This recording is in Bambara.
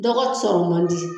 Dɔgɔ sɔrɔ man di.